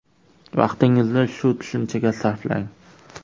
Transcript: Vaqtingizni shu tushunchaga sarflang.